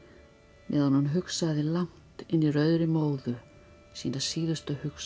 meðan hún hugsaði langt inni í rauðri móðu sína síðustu hugsun